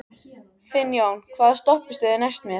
Finnjón, hvaða stoppistöð er næst mér?